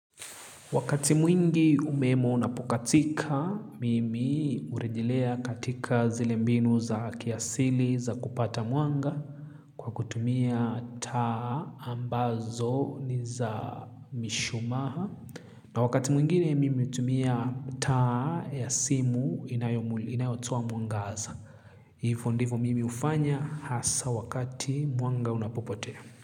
Wakati mwingi umeme unapokatika, mimi hurejelea katika zile mbinu za kiasili za kupata mwanga kwa kutumia taa ambazo ni za mishumaa. Na wakati mwingine mimi hutumia taa ya simu inayotoa mwangaza. Hivo ndivo mimi hufanya hasa wakati mwanga unapopotea.